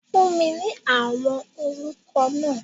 Fún mi ní àwọn orúkọ náà!